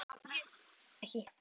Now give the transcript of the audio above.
Ég man það ekki.